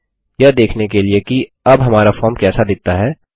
यह देखने के लिए कि अब हमारा फॉर्म कैसा दिखता है